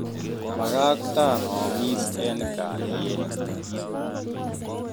Bakaktan oomis eng kalyet